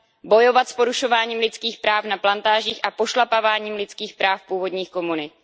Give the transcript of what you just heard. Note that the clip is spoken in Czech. Bojovat s porušováním lidských práv na plantážích a s pošlapáváním lidských práv původních komunit.